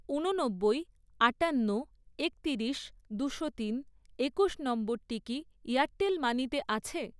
ঊননব্বই, আটান্ন, একতিরিশ, দুশো তিন, একুশ নম্বরটি কি এয়ারটেল মানিতে আছে?